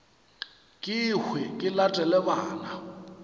ke hwe ke latele bana